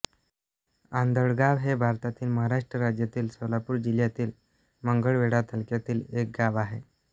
आंधळगाव हे भारतातील महाराष्ट्र राज्यातील सोलापूर जिल्ह्यातील मंगळवेढा तालुक्यातील एक गाव आहे